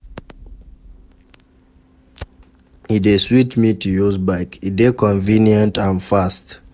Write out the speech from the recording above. E dey sweet me to use bike, e dey convenient and fast.